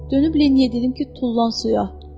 Dönüb Leniye dedim ki, tullan suya.